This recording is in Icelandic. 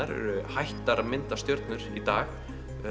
eru hættar að mynda stjörnur í dag